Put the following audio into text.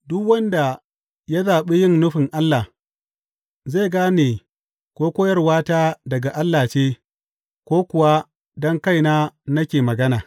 Duk wanda ya zaɓi yin nufin Allah, zai gane ko koyarwata daga Allah ce, ko kuwa don kaina ne nake magana.